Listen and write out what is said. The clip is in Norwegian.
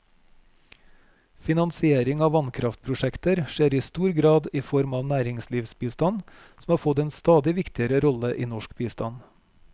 Finansiering av vannkraftprosjekter skjer i stor grad i form av næringslivsbistand, som har fått en stadig viktigere rolle i norsk bistand.